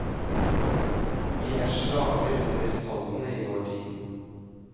Vi er slaver under tallene i vår tid.